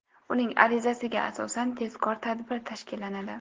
Uning arizasiga asosan, tezkor tadbir tashkillanadi.